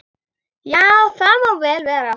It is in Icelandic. Já, það má vel vera.